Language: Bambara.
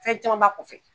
Fɛn caman b'a kɔfɛ